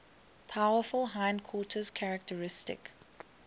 powerful hindquarters characteristic